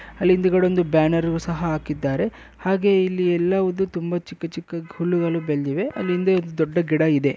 ಅಲ್ಲಿ ಹಿಂದೆಗಡೆ ಒಂದು ಬನ್ನಾರು ಸಹ ಹಾಕಿದ್ದಾರೆ ಹಾಗೆ ಇಲ್ಲಿಎಲ್ಲವುದು ತುಂಬಾ ಅಲ್ಲಿ ಚಿಕ್ಕ ಚಿಕ್ಕ ಗಿಡಗಳು ಬೆಳೆದಿವೆ ಹಿಂದೆ ದೊಡ್ಡ ಗಿಡ ಇದೆ.